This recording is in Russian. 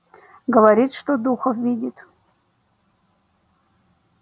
говорит что духов видит